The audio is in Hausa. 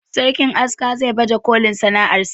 sarkin aska za baje kolin sana'ar sa